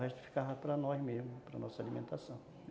O resto ficava para nós mesmo, para nossa alimentação.